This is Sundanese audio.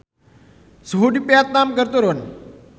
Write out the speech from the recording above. Suhu di Vietman keur turun